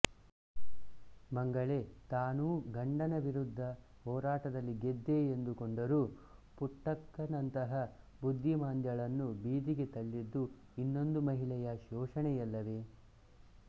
ಮಂಗಳೆ ತಾನೂ ಗಂಡನ ವಿರುದ್ಧದ ಹೋರಾಟದಲ್ಲಿ ಗೆದ್ದೆ ಎಂದು ಕೊಂಡರೂ ಪುಟ್ಟಕ್ಕನಂತಹ ಬುದ್ಧಿಮಾಂದ್ಯಳನ್ನು ಬೀದಿಗೆ ತಳ್ಳಿದ್ದು ಇನ್ನೊಂದು ಮಹಿಳೆಯ ಶೋಷಣೆಯಲ್ಲವೇ